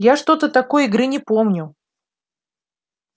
я что-то такой игры не помню